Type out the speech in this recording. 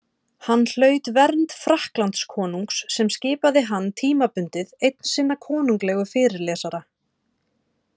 Hann hlaut vernd Frakklandskonungs sem skipaði hann, tímabundið, einn sinna konunglegu fyrirlesara.